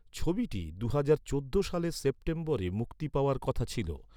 ছবিটি দুহাজার চোদ্দ সালের সেপ্টেম্বরে মুক্তি পাওয়ার কথা ছিল।